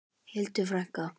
Hildur frænka.